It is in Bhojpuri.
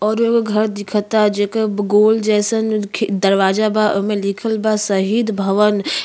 औरु एगो घर दिखता जेकर गोल जइसन खि दरवाजा बा। ओमे लिखल बा शहीद भवन।